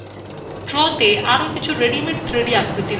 draw তে আরো কিছু রেডিমেড 3d আকৃতি রয়েছে